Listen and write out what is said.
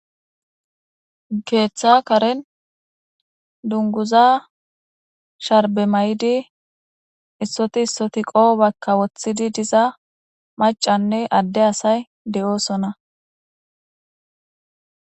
keeththa karen dunguza sharbe may7di issoti issoti qoobakka woththidi diza macanne adde asay de7oosona